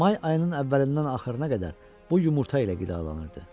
May ayının əvvəlindən axırına qədər bu yumurta ilə qidalanırdı.